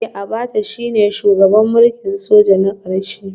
Eh Abacha shine shugaban mulkin soja na karshe